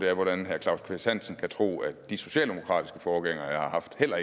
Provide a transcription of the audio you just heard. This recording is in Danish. er hvordan herre claus kvist hansen kan tro at de socialdemokratiske forgængere jeg har haft heller